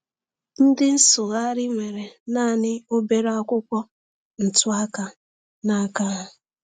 Ndị nsụgharị nwere naanị obere akwụkwọ ntụaka n’aka ha.